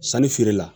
Sannifeere la